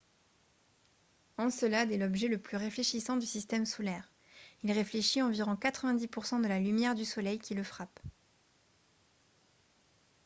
encelade est l'objet le plus réfléchissant du système solaire. il réfléchit environ 90 % de la lumière du soleil qui le frappe